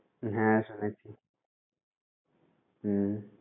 হ্যাঁ শুনেছি হুম।